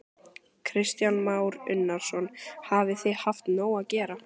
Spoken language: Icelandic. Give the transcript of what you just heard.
Kristján Már Unnarsson: Hafið þið haft nóg að gera?